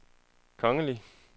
kongelige